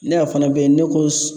Ne a fana bɛ yen ne ko